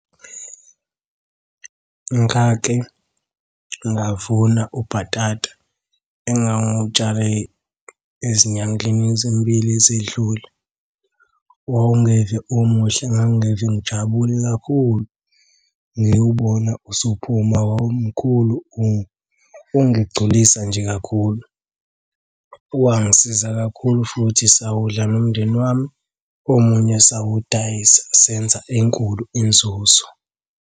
Ngake ngavuna ubhatata engangutshale ezinyangeni ezimbili ezedlule. Wawungeve umuhle, ngangingeve ngijabule kakhulu. Ngiwubona usuphuma wawumkhulu ungigculisa nje kakhulu. Wangisiza kakhulu futhi sawudla nomndeni wami. Omunye sawudayisa senza enkulu inzuzo.